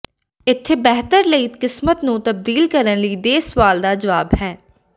ਇੱਥੇ ਬਿਹਤਰ ਲਈ ਕਿਸਮਤ ਨੂੰ ਤਬਦੀਲ ਕਰਨ ਲਈ ਦੇ ਸਵਾਲ ਦਾ ਜਵਾਬ ਹੈ